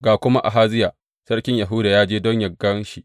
Ga kuma Ahaziya sarkin Yahuda ya je don yă gan shi.